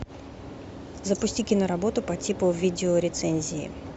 запусти киноработу по типу видеорецензии